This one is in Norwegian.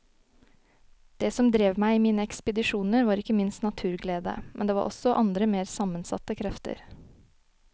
Det som drev meg i mine ekspedisjoner var ikke minst naturglede, men det var også andre mer sammensatte krefter.